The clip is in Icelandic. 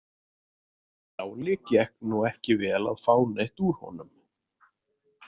Njáli gekk nú ekki vel að fá neitt úr honum.